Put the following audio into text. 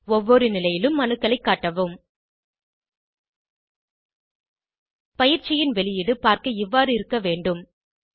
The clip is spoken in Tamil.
ஒவ்வொரு நிலையிலும் அணுக்களை காட்டவும் பயிற்சியின் வெளியீடு பார்க்க இவ்வாறு இருக்க வேண்டும்